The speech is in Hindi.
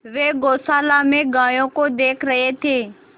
वे गौशाला में गायों को देख रहे थे